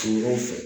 fɛ